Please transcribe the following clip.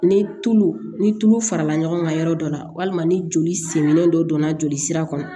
Ni tulu ni tulu farala ɲɔgɔn kan yɔrɔ dɔ la walima ni joli sen dɔ donna joli sira kɔnɔ